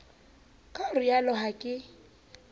ka ho rialo ha ke